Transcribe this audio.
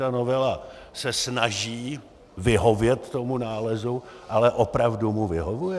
Ta novela se snaží vyhovět tomu nálezu, ale opravdu mu vyhovuje?